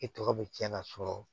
E tɔgɔ bɛ tiɲɛ ka sɔrɔ